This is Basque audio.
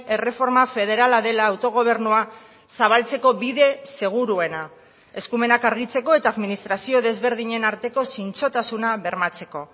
erreforma federala dela autogobernua zabaltzeko bide seguruena eskumenak argitzeko eta administrazio desberdinen arteko zintzotasuna bermatzeko